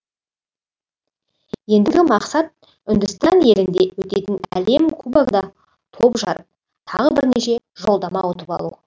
ендігі мақсат үндістан елінде өтетін әлем кубогында топ жарып тағы бірнеше жолдама ұтып алу